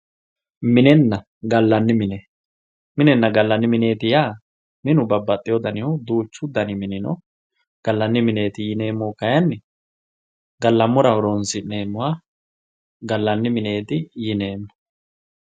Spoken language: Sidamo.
minenna gallanni mine minenna gallanni mineeti yaa minu babbaxiyoo danihu duuchu dani minu no gallanni mineeti yineemohu kayiini gallammora horonsi'neemoha gallanni mineeti yineemmo